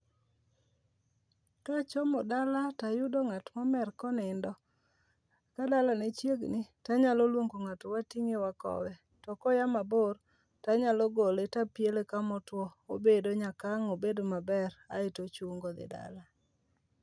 Ka chomo dala to ayudo ng'at momer konindo kadala ne chiegni to anyalo luongo ngato wateng'e wakowe to koa mabor to anyalo gole to apiele kama otuo obedo nyaka ang' obed maber aeto ochungo odhi dala.